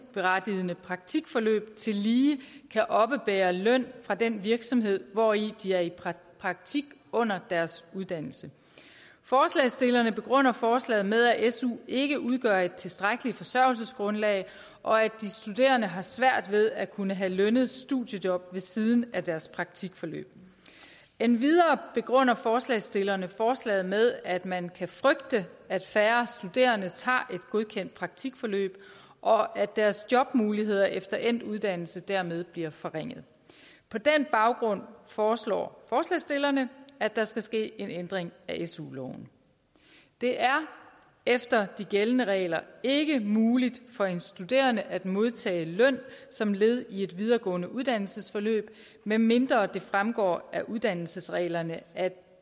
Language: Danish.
berettigede praktikforløb tillige kan oppebære løn fra den virksomhed hvori de er i praktik under deres uddannelse forslagsstillerne begrunder forslaget med at su ikke udgør et tilstrækkeligt forsørgelsesgrundlag og at de studerende har svært ved at kunne have lønnet studiejob ved siden af deres praktikforløb endvidere begrunder forslagsstillerne forslaget med at man kan frygte at færre studerende tager et godkendt praktikforløb og at deres jobmuligheder efter endt uddannelse dermed bliver forringet på den baggrund foreslår forslagsstillerne at der skal ske en ændring af su loven det er efter de gældende regler ikke muligt for en studerende at modtage løn som led i et videregående uddannelsesforløb medmindre det fremgår af uddannelsesreglerne at